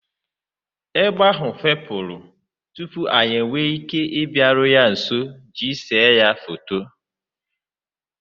Egbe ahụ fepụrụ tupu anyị enwee ike ịbịaru ya nso iji séé ya foto.